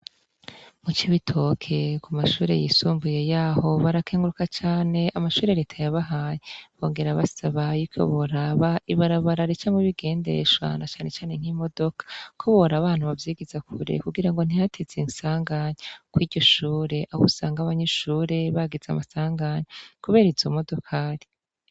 mu cibitoke ku mashure yisumbuye yaho barakenguruka cane amashuri reta yabahaye bongera basabayeiko boraba ibarabara ricamwo ibigendeshwa na cane cane nk'imodoka koboraba ahantu bavyigiza kure kugira ngo ntihateze insanganya kuri iryo shure aho usanga abanyeshure bagize amasanganya kubera izo modokari